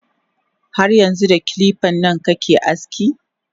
Har yanxu da kilipan nan kake aski?